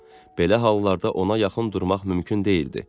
Belə hallarda ona yaxın durmaq mümkün deyildi.